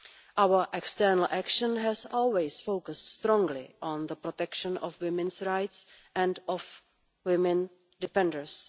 Our external action has always focused strongly on the protection of women's rights and of women defenders.